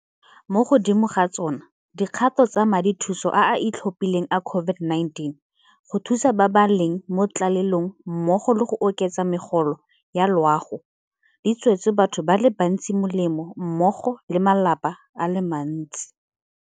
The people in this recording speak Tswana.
Mo godimo ga tsona, dikgato tsa Madithuso a a Itlhophileng a COVID-19 go Thusa ba ba leng mo Tlalelong mmogo le go oketsa megolo ya loago di tswetse batho ba le bantsi molemo mmogo le malapa a le mantsi.